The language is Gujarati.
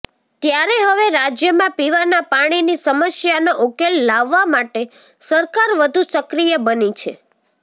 ત્યારે હવે રાજ્યમાં પીવાના પાણીની સમસ્યાનો ઉકેલ લાવવા માટે સરકાર વધુ સક્રિય બની છે